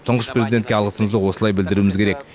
тұңғыш президентке алғысымызды осылай білдіруіміз керек